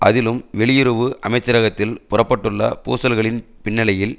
அதிலும் வெளியுறவு அமைச்சரகத்தில் புறப்பட்டுள்ள பூசல்களின் பின்னணியில்